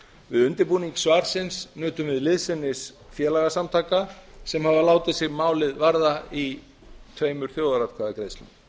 undirbúning svarsins nutum við liðsinnis félagasamtaka sem hafa látið málið sig varða í tveimur þjóðaratkvæðagreiðslum